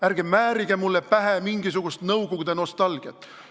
Ärge määrige mulle pähe mingisugust nõukogude nostalgiat!